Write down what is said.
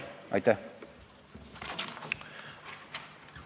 Aitäh!